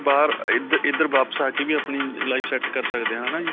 ਬਾਹਰ ਅਅ ਇਇ ਇੱਧਰ ਵਾਪਿਸ ਆ ਕੇ ਵੀ ਆਪਣੀ life set ਕਰ ਸਕਦੇ ਹਾਂ ਹੈ ਨਾ ਜੀ?